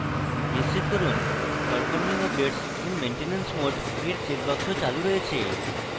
নিশ্চিত করুন performing updates in maintenance mode এর চেকবাক্স চালু রয়েছে